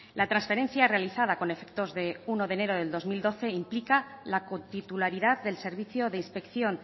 la transferencia realizada con efectos de uno de enero del dos mil doce implica la cotitularidad del servicio de inspección